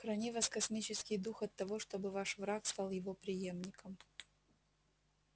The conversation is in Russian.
храни вас космический дух от того чтобы ваш враг стал его преемником